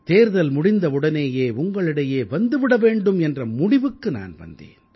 தேர்தல் முடிந்தவுடனேயே உங்களிடையே வந்து விட வேண்டும் என்ற முடிவுக்கு நான் வந்தேன்